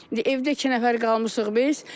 İndi evdə iki nəfər qalmışıq biz.